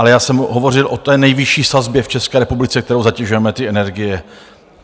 Ale já jsem hovořil o té nejvyšší sazbě v České republice, kterou zatěžujeme ty energie.